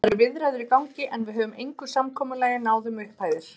Það eru viðræður í gangi, en við höfum engu samkomulagi náð um upphæðir.